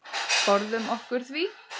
Forðum okkur því.